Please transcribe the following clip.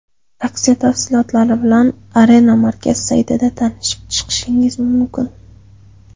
Aksiya tafsilotlari bilan Arena Markaz saytida tanishib chiqishingiz mumkin.